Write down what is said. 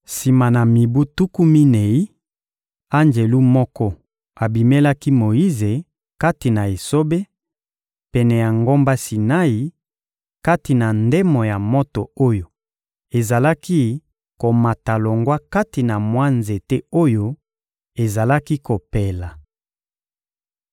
Sima na mibu tuku minei, anjelu moko abimelaki Moyize kati na esobe, pene ya ngomba Sinai, kati na ndemo ya moto oyo ezalaki komata longwa kati na mwa nzete oyo ezalaki kopela.